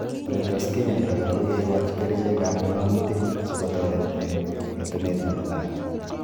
Ole tos kinyaita kora ko kekoch kerichek ab ng�mutik si kotoret eng'etunet nepo lag'ok